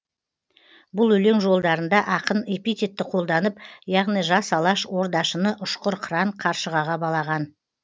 бұл өлең жолдарында ақын эпитетті қолданып яғни жас алаш ордашыны ұшқыр қыран қаршығаға балаған